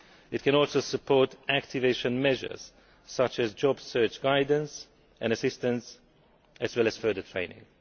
It can also support activation measures such as job search guidance and assistance, as well as further training.